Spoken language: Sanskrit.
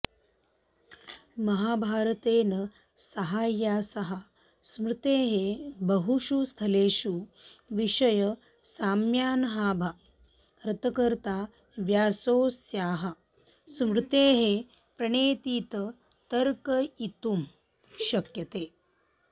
महाभारतेन सहास्याः स्मृतेः बहुषु स्थलेषु विषयसाम्यान्महाभारतकर्ता व्यासोऽस्याः स्मृतेः प्रणेतेति तर्कयितुं शक्यते